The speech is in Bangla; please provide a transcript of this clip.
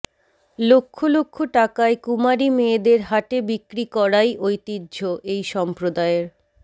লক্ষ লক্ষ টাকায় কুমারী মেয়েদের হাটে বিক্রি করাই ঐতিহ্য এই সম্প্রদায়ের